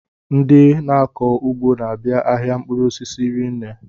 Ndị na-akọ ugbo n'abia ahịa mkpụrụ osisi rinne.